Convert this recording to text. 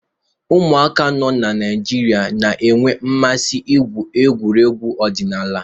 Ụmụaka nọ na Naịjirịa na-enwe mmasị n'igwu egwuregwu ọdịnala.